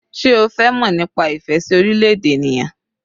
Sé o fẹ́ mọ̀ nípa ìfẹ́ sí orílẹ̀-èdè ènìyàn?